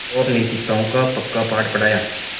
और नैतिकताओं का पक्का पाठ पढ़ाया